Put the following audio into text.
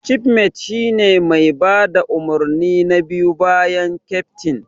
Cifmet shine mai bada umarni na biyu bayan keftin.